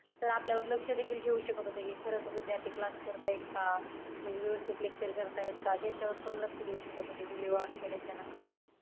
Sir आपल्यावर लक्ष देखील ठेवू शकत होते, कि खरंच विद्यार्थी class करताय का? म्हणजे व्यवस्थित lecture करतायेत का? ह्याच्यावरती पण लक्ष देऊ शकत होते video on केल्याच्या नंतर.